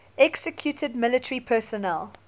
executed military personnel